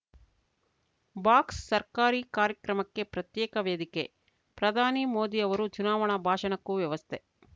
box ಸರ್ಕಾರಿ ಕಾರ್ಯಕ್ರಮಕ್ಕೆ ಪ್ರತ್ಯೇಕ ವೇದಿಕೆ ಪ್ರಧಾನಿ ಮೋದಿ ಅವರು ಚುನಾವಣಾ ಭಾಷಣಕ್ಕೂ ವ್ಯವಸ್ಥೆ